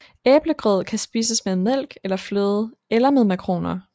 Æblegrød kan spises med mælk eller fløde eller med makroner